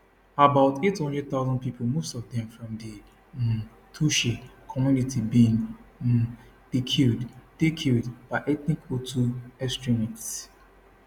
about 800000 pipo most of dem from di um tutsi community bin um dey killed dey killed by ethnic hutu extremists